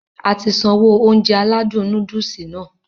Ati sanwó Ounjẹ aládùn nóódùsì Nàá